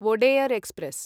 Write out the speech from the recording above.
Wodeyar express